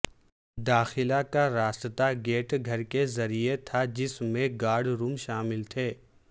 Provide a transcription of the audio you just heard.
داخلہ کا راستہ گیٹ گھر کے ذریعے تھا جس میں گارڈ روم شامل تھے